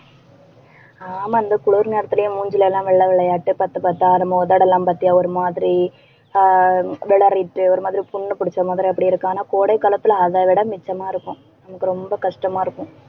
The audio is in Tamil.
ஆமா இந்த குளிர் நேரத்திலேயே மூஞ்சில எல்லாம் வெள்ளை வெளையேனு பத்து, பத்தா நம்ம உதடெல்லாம் பாத்தியா, ஒரு மாதிரி ஆஹ் விளரிட்டு ஒரு மாதிரி புண்ணு பிடிச்ச மாதிரி அப்படி இருக்கும். ஆனா கோடை காலத்துல அதை விட மிச்சமா இருக்கும் எனக்கு ரொம்ப கஷ்டமா இருக்கும்